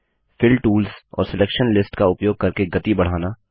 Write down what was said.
fill tools और selection list का उपयोग करके गति बढ़ाना